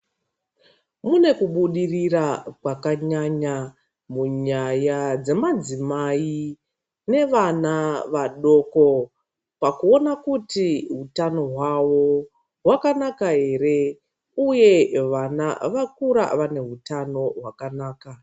Kune kubudirira kwakanyanya munyaya dzemadzimai nevana vadoko pakuona kuti hutano hwavo hwakanaka here uye vana vakura vane hutano hwakanaka .